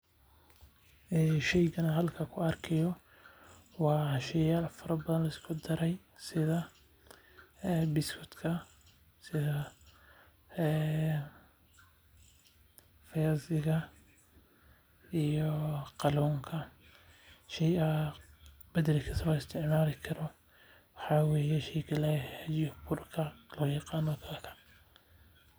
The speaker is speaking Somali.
Sheygani aan halkan ku arkaa haayo waa sheeyal badan oo lisku daray sida buskudka fiyaasiga iyo kaluunka.